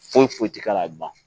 Foyi foyi ti k'ala ban